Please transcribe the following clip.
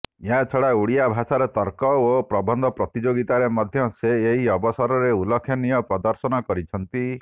ଏହାଛଡ଼ା ଓଡ଼ିଆ ଭାଷାର ତର୍କ ଓ ପ୍ରବନ୍ଧ ପ୍ରତିଯୋଗିତାରେ ମଧ୍ୟ ସେ ଏହି ଅବସରରେ ଉଲ୍ଲେଖନୀୟ ପ୍ରଦର୍ଶନ କରିଛନ୍ତି